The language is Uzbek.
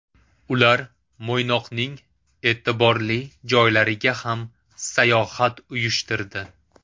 Ular Mo‘ynoqning e’tiborli joylariga ham sayohat uyushtirdi.